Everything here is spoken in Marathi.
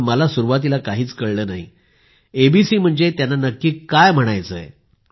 मला सुरुवातीला काहीच कळले नाही एबीसी म्हणजे त्यांना नक्की काय म्हणायचे आहे